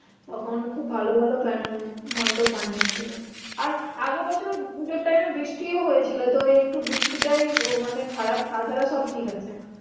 তখন খুব ভালো ভালো মণ্ডপ বানিয়ে ছিল আর আগের বছর পুজোর time এ বৃষ্টি ও হয়েছিল তো একটু বৃষ্টিটাই মানে খারাপ তাছাড়া সব ঠিক আছে